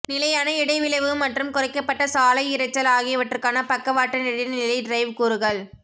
நிலையான இடைவிளைவு மற்றும் குறைக்கப்பட்ட சாலை இரைச்சல் ஆகியவற்றுக்கான பக்கவாட்டு இடைநிலை டிரைவ் கூறுகள்